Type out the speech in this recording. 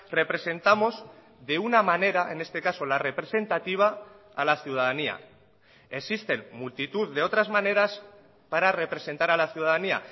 representamos de una manera en este caso la representativa a la ciudadanía existen multitud de otras maneras para representar a la ciudadanía